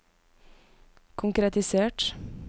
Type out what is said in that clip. konkretisert